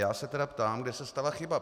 Já se tedy ptám, kde se stala chyba.